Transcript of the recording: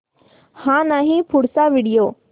हा नाही पुढचा व्हिडिओ